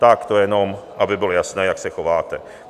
Tak to jenom aby bylo jasné, jak se chováte.